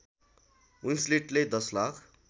विन्सलेटले १० lakh